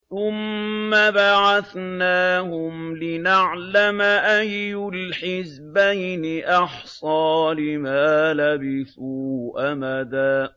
ثُمَّ بَعَثْنَاهُمْ لِنَعْلَمَ أَيُّ الْحِزْبَيْنِ أَحْصَىٰ لِمَا لَبِثُوا أَمَدًا